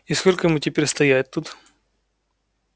и сколько ему теперь стоять тут